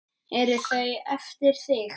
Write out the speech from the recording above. Eru þau eftir þig?